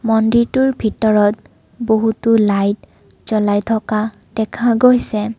মন্দিৰতোৰ ভিতৰত বহুতো লাইট জ্বলাই থকা দেখা গৈছে।